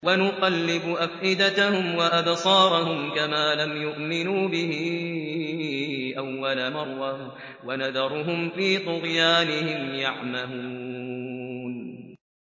وَنُقَلِّبُ أَفْئِدَتَهُمْ وَأَبْصَارَهُمْ كَمَا لَمْ يُؤْمِنُوا بِهِ أَوَّلَ مَرَّةٍ وَنَذَرُهُمْ فِي طُغْيَانِهِمْ يَعْمَهُونَ